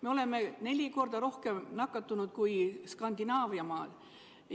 Meil on suhtarvuna neli korda rohkem nakatunuid kui Skandinaaviamaades.